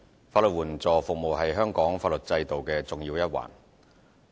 法律援助服務是香港法律制度重要的一環。